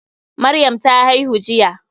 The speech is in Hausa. Maryam ta haihu jiya.